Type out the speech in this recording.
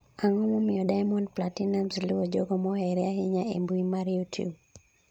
ang'o momiyo Diamond Platinumz luwo jogo mohere ahinya e mbui mar YouTube